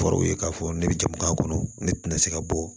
Kɔrɔw ye k'a fɔ ne bɛ jamu k'a kɔnɔ ne tɛna se ka bɔ